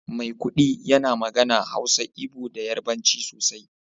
maikudi yana magana, Hausa, Igbo da Yarbanci sosai